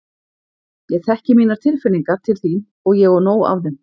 Ég þekki mínar tilfinningar til þín og ég á nóg af þeim.